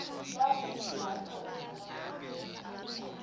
what is macroeconomics